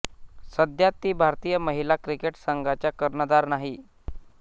सध्या ती भारतीय महिला क्रिकेट संघाचा कर्णधार नाही